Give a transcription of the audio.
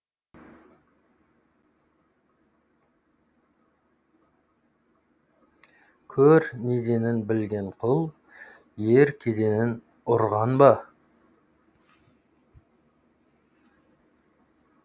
көр неденін білген құл ел кеденін ұрған ба